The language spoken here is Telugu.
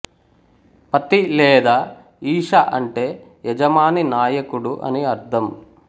పతి లేదా ఈశ అంటే యజమాని నాయకుడు అని అర్థం